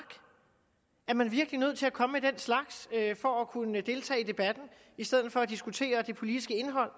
er man virkelig nødt til at komme med den slags for at kunne deltage i debatten i stedet for at diskutere det politiske indhold